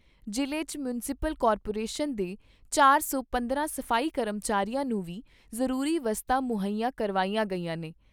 ਜ਼ਿਲ੍ਹੇ 'ਚ municipal corporation ਦੇ ਚਾਰ ਸੌ ਪੰਦਰਾਂ ਸਫ਼ਾਈ ਕਰਮਚਾਰੀਆਂ ਨੂੰ ਵੀ ਜ਼ਰੂਰੀ ਵਸਤਾਂ ਮੁੱਹਈਆ ਕਰਵਾਈਆਂ ਗਈਆਂ ਨੇ।